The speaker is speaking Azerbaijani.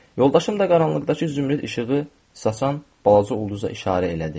Yoldaşım da qaranlıqdakı zümrüd işığı saçan balaca ulduza işarə elədi.